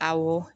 Awɔ